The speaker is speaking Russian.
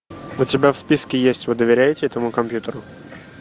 у тебя в списке есть вы доверяете этому компьютеру